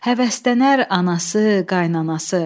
həvəslənər anası, qaynanansı.